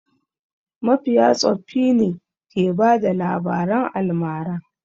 Mafiya tsoffi ne ke bada labaran almara.